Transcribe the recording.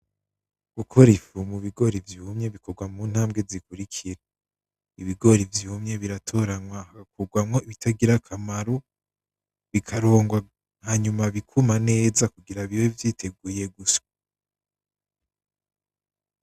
Gukora ifu mu bigori vyumye bikorwa mu ntambwe zikurikira, ibigori vyumye biratoranywa hagakurwamwo ibitagira akamaro bikarongwa hanyuma bikuma neza kugira bibe vyiteguye gusya.